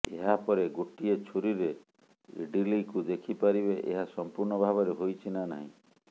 ଏହାପରେ ଗୋଟିଏ ଛୁରିରେ ଇଡଲୀକୁ ଦେଖିପାରିବେ ଏହା ସମ୍ପୂର୍ଣ୍ଣ ଭାବରେ ହୋଇଛି ନା ନାହିଁ